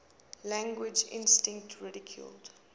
language instinct ridiculed